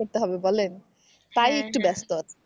করতে হবে বলেন তাই একটু ব্যস্ত আছি।